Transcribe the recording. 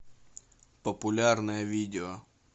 популярное видео